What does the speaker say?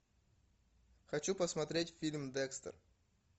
хочу посмотреть фильм декстер